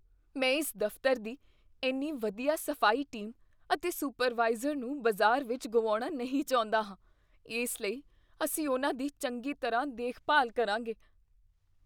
ਮੈਂ ਇਸ ਦਫਤਰ ਦੀ ਇੰਨੀ ਵਧੀਆ ਸਫ਼ਾਈ ਟੀਮ ਅਤੇ ਸੁਪਰਵਾਈਜ਼ਰ ਨੂੰ ਬਾਜ਼ਾਰ ਵਿੱਚ ਗੁਆਉਣਾ ਨਹੀਂ ਚਾਹੁੰਦਾ ਹਾਂ। ਇਸ ਲਈ, ਅਸੀਂ ਉਨ੍ਹਾਂ ਦੀ ਚੰਗੀ ਤਰ੍ਹਾਂ ਦੇਖਭਾਲ ਕਰਾਂਗੇ।